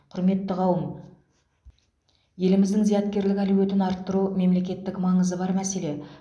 құрметті қауым еліміздің зияткерлік әлеуетін арттыру мемлекеттік маңызы бар мәселе